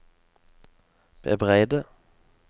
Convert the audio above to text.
bebreide